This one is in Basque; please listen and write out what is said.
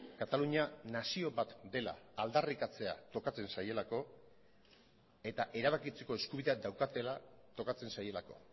katalunia nazio bat dela aldarrikatzea tokatzen zaielako eta erabakitzeko eskubidea daukatela tokatzen zaielako